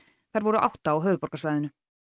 þær voru átta á höfuðborgarsvæðinu